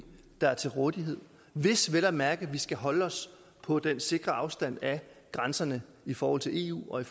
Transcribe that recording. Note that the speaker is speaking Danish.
der er til rådighed hvis vi vel at mærke skal holde os på den sikre afstand af grænserne i forhold til eu og i